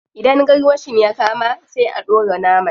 Idan garwashin ya kama, sai a dora naman.